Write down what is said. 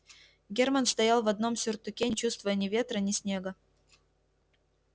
германн стоял в одном сюртуке не чувствуя ни ветра ни снега